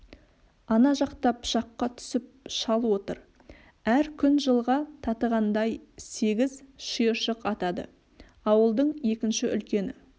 ана жақта пышаққа түсіп шал отыр әр күн жылға татығандай сегіз шиыршық атады ауылдың екінші үлкені